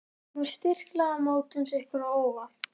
Kemur styrkleiki mótsins ykkur á óvart?